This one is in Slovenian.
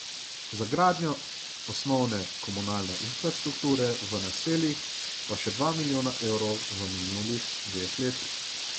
Za gradnjo osnovne komunalne infrastrukture v naseljih pa še dva milijona evrov v minulih dveh letih.